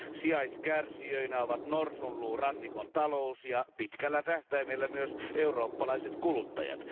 Sijaiskärsijöinä ovat Norsunluurannikon talous ja pitkällä tähtäimellä myös eurooppalaiset kuluttajat.